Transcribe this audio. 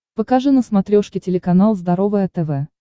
покажи на смотрешке телеканал здоровое тв